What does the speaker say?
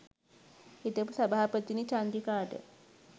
හිටපු සභාපතිනි චන්ද්‍රිකාට